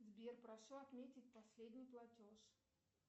сбер прошу отметить последний платеж